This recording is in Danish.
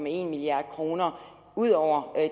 en milliard kroner ud over